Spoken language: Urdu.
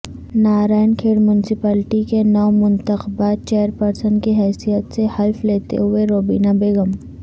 نارائن کھیڑ میونسپلٹی کے نومنتخبہ چیئرپرسن کی حیثیت سے حلف لیتے ہوئےروبینہ بیگم